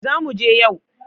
Zamu je yau